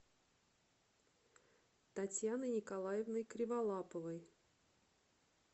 татьяной николаевной криволаповой